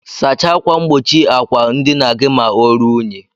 Sacha akwa ngbochi akwa ndina gi ma orụọ inyi.